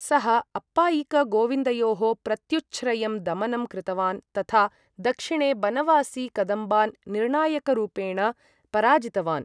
सः अप्पायिकगोविन्दयोः प्रत्युच्छ्रयं दमनं कृतवान् तथा दक्षिणे बनवासी कदम्बान् निर्णायकरूपेण पराजितवान्।